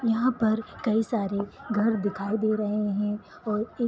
यहाँ पर कई सारे घर दिखाई दे रहे है और एक--